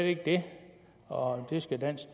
ikke det og det skal dansk